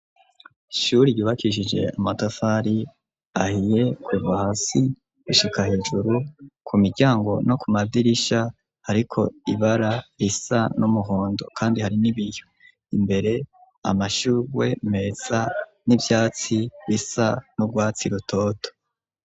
Ishuri yubakishije amatafari ahiye kuva hasi gishika hejuru ku miryango no ku madirisha ariko ibara risa n'umuhondo kandi hari n'ibiyo, imbere amashurwe meza n'ivyatsi bisa n'urwatsi rutoto.